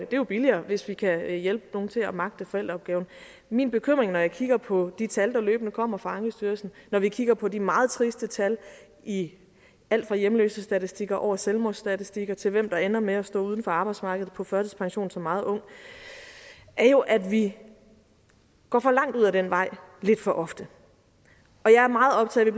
det er billigere hvis vi kan hjælpe nogle til at magte forældreopgaven min bekymring når jeg kigger på de tal der løbende kommer fra ankestyrelsen og når vi kigger på de meget triste tal i alt fra hjemløsestatistikker over selvmordsstatistikker til hvem der ender med at stå uden for arbejdsmarkedet på førtidspension som meget ung er jo at vi går for langt ud ad den vej lidt for ofte jeg er meget optaget af